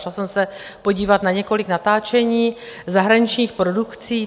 Šla jsem se podívat na několik natáčení zahraničních produkcí.